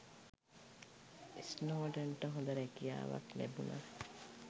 ස්නෝඩන්ට හොඳ රැකියාවක් ලැබුණත්